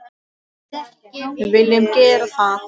Við viljum gera það.